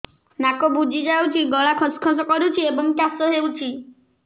ନାକ ବୁଜି ଯାଉଛି ଗଳା ଖସ ଖସ କରୁଛି ଏବଂ କାଶ ହେଉଛି